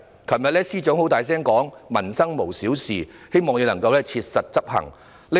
政務司司長昨天大聲地說："民生無小事"，希望他能切實執行。